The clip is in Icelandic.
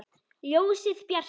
Ljósið bjarta!